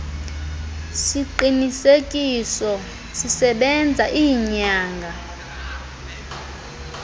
siqinisekiso sisebenza iinyanga